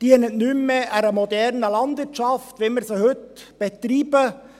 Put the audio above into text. sie dient nicht mehr einer modernen Landwirtschaft, wie wir sie heute betreiben.